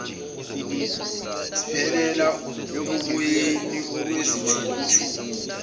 ziphelela oboyeni okwezithukuthuku